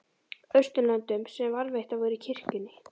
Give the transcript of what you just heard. Austurlöndum sem varðveittar voru í kirkjunni.